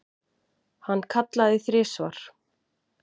Hann kallaði þrisvar.